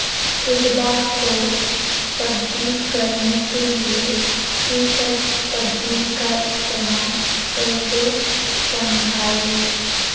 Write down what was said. اقدار کو تبدیل کرنے کے لئے فی صد تبدیلی کا استعمال کیسے سمجھیں